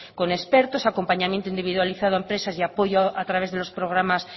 con expertos acompañamiento individualizado a empresas y apoyo a través de los programas